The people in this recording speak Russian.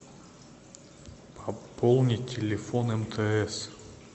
пополнить телефон мтс